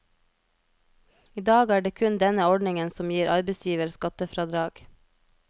I dag er det kun denne ordningen som gir arbeidsgiver skattefradrag.